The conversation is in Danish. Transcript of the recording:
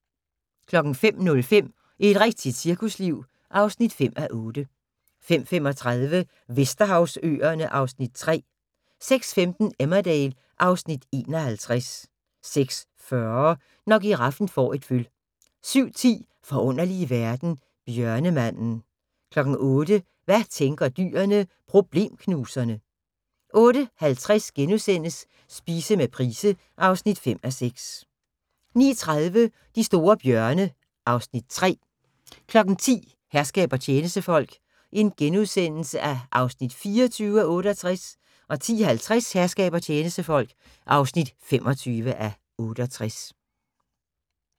05:05: Et rigtigt cirkusliv (5:8) 05:35: Vesterhavsøerne (Afs. 3) 06:15: Emmerdale (Afs. 51) 06:40: Når giraffen får et føl 07:10: Forunderlige verden - bjørnemanden 08:00: Hvad tænker dyrene? – Problemknuserne 08:50: Spise med Price (5:6)* 09:30: De store bjørne (Afs. 3) 10:00: Herskab og tjenestefolk (24:68)* 10:50: Herskab og tjenestefolk (25:68)